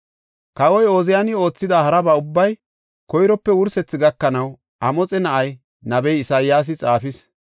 Kawoy Ooziyani oothida haraba ubbaa koyrope wursethi gakanaw Amoxe na7ay, nabey Isayaasi xaafis.